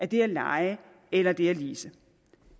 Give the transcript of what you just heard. det at leje eller det at lease